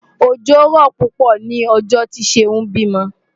Òjò rọ̀ púpọ̀ lọ́jọ́ tí Ṣeún bímọ.